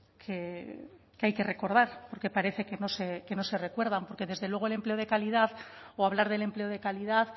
que hay que recordar porque parece que no se recuerdan porque desde luego el empleo de calidad o hablar del empleo de calidad